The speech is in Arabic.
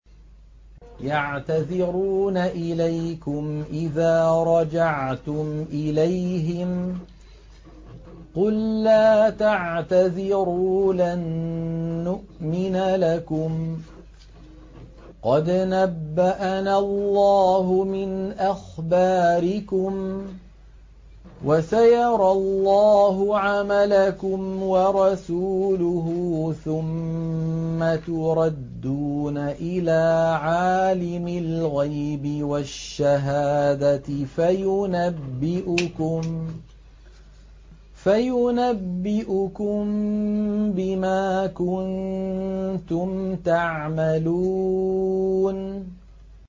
يَعْتَذِرُونَ إِلَيْكُمْ إِذَا رَجَعْتُمْ إِلَيْهِمْ ۚ قُل لَّا تَعْتَذِرُوا لَن نُّؤْمِنَ لَكُمْ قَدْ نَبَّأَنَا اللَّهُ مِنْ أَخْبَارِكُمْ ۚ وَسَيَرَى اللَّهُ عَمَلَكُمْ وَرَسُولُهُ ثُمَّ تُرَدُّونَ إِلَىٰ عَالِمِ الْغَيْبِ وَالشَّهَادَةِ فَيُنَبِّئُكُم بِمَا كُنتُمْ تَعْمَلُونَ